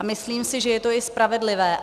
A myslím si, že je to i spravedlivé.